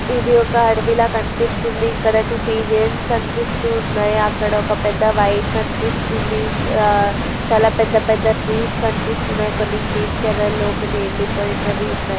ఇది ఒక అడవిలా కనిపిస్తుంది ఇక్కడ ఒక టూ పిజెన్స్ కనిపిస్తున్నాయ్ అక్కడ ఒక పెద్ద వైర్ కనిపిస్తుంది చ-చాలా పెద్ద పెద్ద ట్రీస్ కనిపిస్తున్నాయ్ కొన్ని గ్రీన్ కలర్ లో కొని ఎండిపోయినావి ఉన్నాయి.